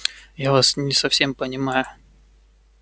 я вас не совсем понимаю